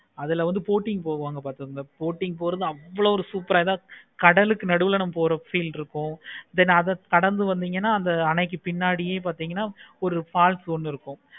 அதுல வந்து boating போவாங்க பார்த்தீங்கன்னா boating அவ்வளோ ஒரு சூப்பர் ஆஹ் கடலுக்கு நடுவுல போற feel இருக்கும். then அத கடந்து வந்திங்கனா அந்த அன்னைக்கு பின்னாடியே பார்த்தீங்கன்னா ஒரு falls ஒன்னு இருக்கும்.